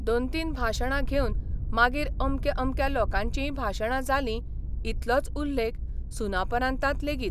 दोन तीन भाशणां घेवन मागीर अमक्या अमक्या लोकांचीय भाशणां जालीं इतलोच उल्लेख सुनापरान्तांत लेगीत.